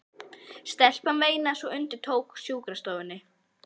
Stelpan veinaði svo undir tók á sjúkrastofunni.